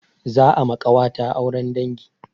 Za a ma ƙawata auren dangi.